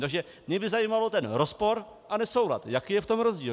Takže by mě zajímal ten rozpor a nesoulad, jaký je v tom rozdíl.